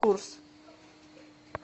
курс